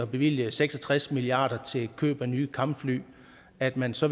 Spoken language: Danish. bevilge seks og tres milliard kroner til køb af nye kampfly at man så